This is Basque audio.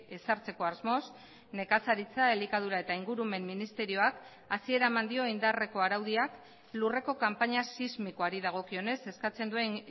ezartzeko asmoz nekazaritza elikadura eta ingurumen ministerioak hasiera eman dio indarreko araudiak lurreko kanpaina sismikoari dagokionez eskatzen duen